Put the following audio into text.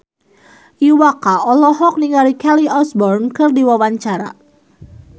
Iwa K olohok ningali Kelly Osbourne keur diwawancara